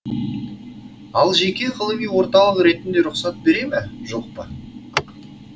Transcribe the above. ал жеке ғылыми орталық ретінде рұқсат бере ме жоқ па